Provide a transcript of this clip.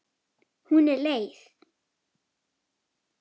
Hún er leið.